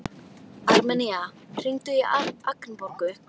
Armenía, hringdu í Agnborgu.